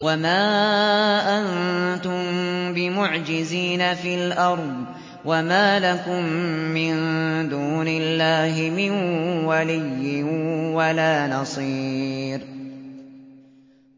وَمَا أَنتُم بِمُعْجِزِينَ فِي الْأَرْضِ ۖ وَمَا لَكُم مِّن دُونِ اللَّهِ مِن وَلِيٍّ وَلَا نَصِيرٍ